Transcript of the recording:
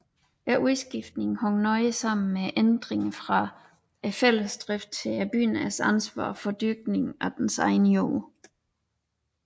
Udskiftningen hang nøje sammen med ændringen fra fællesdrift til bøndernes ansvar for dyrkningen af deres egen jord